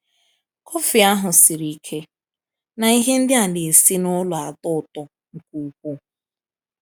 Kọfị ahụ siri ike, na ihe ndị a na-esi n'ụlọ na-atọ ụtọ nke ukwuu.